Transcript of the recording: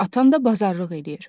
Atam da bazarlıq edir.